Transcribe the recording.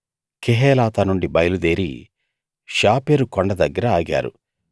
కెహేలాతా నుండి బయలుదేరి షాపెరు కొండ దగ్గర ఆగారు